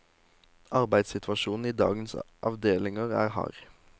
Arbeidssituasjonen i dagens avdelinger er hard.